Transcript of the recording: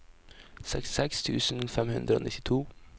sekstiseks tusen fem hundre og nittito